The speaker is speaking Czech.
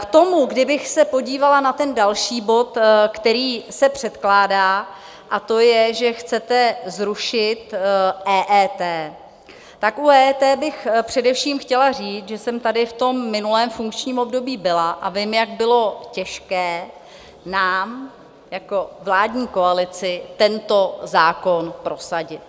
K tomu, kdybych se podívala na ten další bod, který se předkládá, a to je, že chcete zrušit EET, tak u EET bych především chtěla říct, že jsem tady v tom minulém funkčním období byla a vím, jak bylo těžké nám jako vládní koalici tento zákon prosadit.